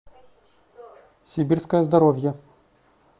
сибирское здоровье